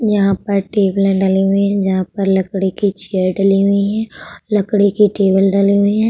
यहां पर टैबले डाली हुई है। जहां पर लकड़ी के चेयर डली हुई है। लकड़ी की टेबल डाली हुई है।